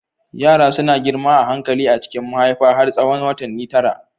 Yara suna girma a hankali a cikin mahaifa har tsawon watanni tara.